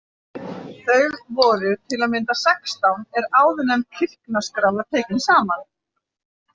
Þau voru til að mynda sextán er áðurnefnd kirknaskrá var tekin saman.